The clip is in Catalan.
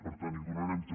per tant hi donarem també